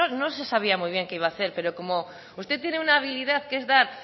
no se sabía muy bien que iba a hacer pero como usted tiene una habilidad que es dar